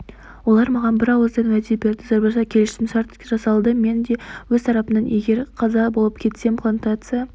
олар маған бірауыздан уәде берді жазбаша келісімшарт жасалды мен де өз тарапымнан егер қаза болып кетсем плантация